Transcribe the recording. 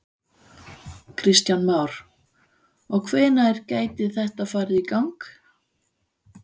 Kristján Már: Og hvenær gæti þetta farið í gang?